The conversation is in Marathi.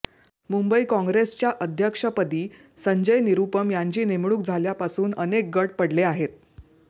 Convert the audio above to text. मुंबई काँग्रेसच्या अध्यक्षपदी संजय निरुपम यांची नेमणूक झाल्यापासून अनेक गट पडले आहेत